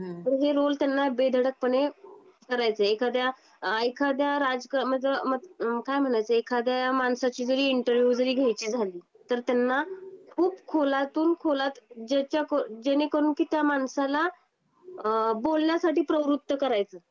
तर हे रोल त्यांना बेधडकपणे करायचे. एखाद्या एखाद्या राज मत काय म्हणायच एखाद्या माणसाची जरी इंटरव्यू जरी घरी घ्यायची झाली तर त्यांना खूप खोलातून खोलात ज्याच्या जेणेकरून म्हणजे कि त्या माणसाला अ बोलण्यासाठी प्रवृत्त करायचं.